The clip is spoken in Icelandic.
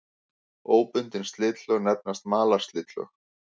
Óbundin slitlög nefnast malarslitlög.